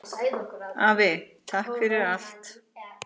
Afi, takk fyrir allt!